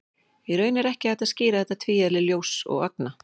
Í raun er ekki hægt að skýra þetta tvíeðli ljóss og agna.